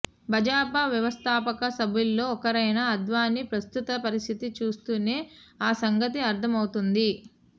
భాజాపా వ్యవస్థాపక సభ్యుల్లో ఒకరైన అద్వానీ ప్రస్తుత పరిస్థితి చూస్తేనే ఆ సంగతి అర్థమవుతుంది